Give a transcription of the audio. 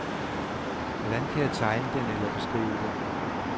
Hvordan kan jeg tegne den eller beskrive den?